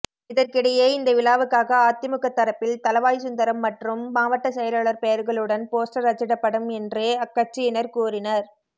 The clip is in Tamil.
இதற்கிடையே இந்த விழாவுக்காக அதிமுக தரப்பில் தளவாய்சுந்தரம் மற்றும் மாவட்ட செயலாளர் பெயர்களுடன் போஸ்டர் அச்சிடப்படும் என்று அக்கட்சியினர் கூறினர்